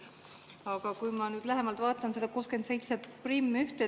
Aga ma nüüd lähemalt vaatan seda 671.